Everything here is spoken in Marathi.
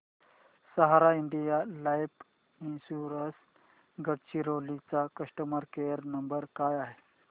सहारा इंडिया लाइफ इन्शुरंस गडचिरोली चा कस्टमर केअर नंबर काय आहे